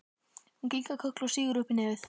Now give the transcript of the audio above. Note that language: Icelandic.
Hún kinkar kolli og sýgur upp í nefið.